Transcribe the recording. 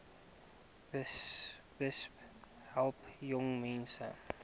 besp help jongmense